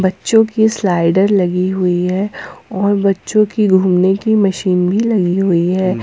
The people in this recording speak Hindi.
जो की स्लाइडर लगी हुई है और बच्चों के घूमने की मशीन भी लगी हुई है।